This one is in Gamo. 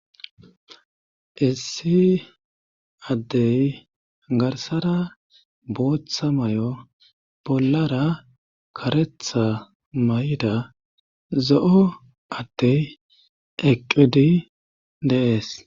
issi addey garsara booththa mayo bollara karetha mayida zo'o atte eqqidi dee'es